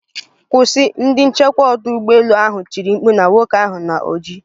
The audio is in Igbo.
Kwụsị!,ndi nchekwa odu ugbo elu ahụ tiri mkpu na nwoke ahụ na oji.